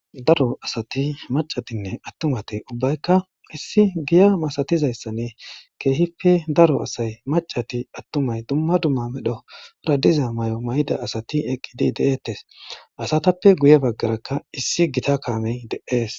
Daro asati attumaynne maccay ubbaykka issi giya masatizaysan keehippe daro asay maccati attumay dumma dumma medho diza mayo mayida asati eqqidi de'etes. Asatappe guye baggarakkaissi gita kaamey de'es.